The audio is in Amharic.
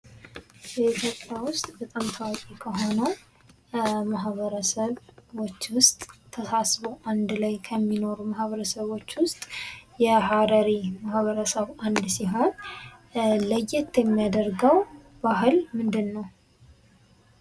በኢትዮጵያ ውስጥ በጣም ታዋቂ ከሆነው ማህበረሰቦች ውስጥ ተሳስበው አንድ ላይ ከሚኖሩ ማህበረሰቦች ውስጥ የሀረሪ ማህበረሰብ አንዱ ሲሆን ለየት የሚያደርገው ባህል ምንድነው?